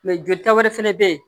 jolita wɛrɛ fɛnɛ bɛ yen